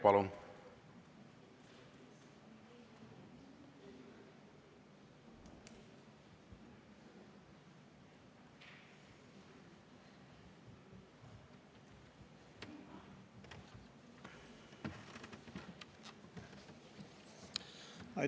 Palun!